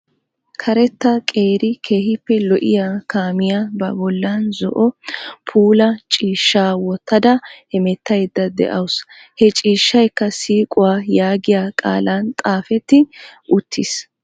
Karetta qeeri keehippe lo"iyaa kaamiyaa ba bollaan zo"o puula ciishshaa woottada hemettayda de'awus. He ciishshaykka siiquwaa yaagiyaa qaalan xaafetti uttiis.